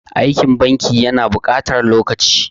Aikin banki ya na buƙatar lokaci.